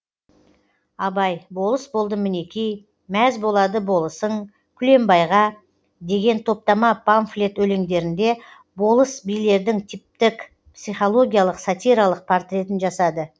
абай болыс болдым мінекей мәз болады болысың күлембайға деген топтама памфлет өлеңдерінде болыс билердің типтік психологиялық сатиралық портретін жасады